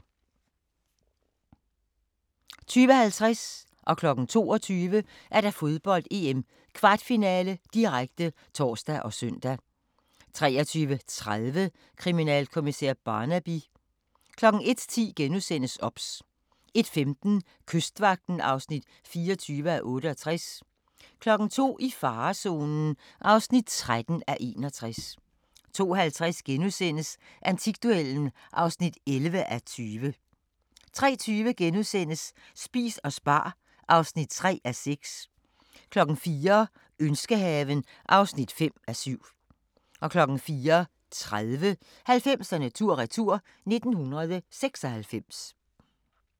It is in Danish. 20:50: Fodbold: EM - kvartfinale, direkte (tor og søn) 22:00: Fodbold: EM - kvartfinale, direkte (tor og søn) 23:30: Kriminalkommissær Barnaby 01:10: OBS * 01:15: Kystvagten (24:68) 02:00: I farezonen (13:61) 02:50: Antikduellen (11:20)* 03:20: Spis og spar (3:6)* 04:00: Ønskehaven (5:7) 04:30: 90'erne tur-retur: 1996